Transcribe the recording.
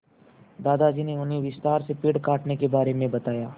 दादाजी ने उन्हें विस्तार से पेड़ काटने के बारे में बताया